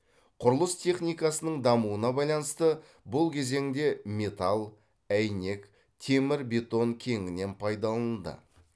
құрылыс техникасының дамуына байланысты бұл кезеңде металл әйнек темір бетон кеңінен пайдаланылды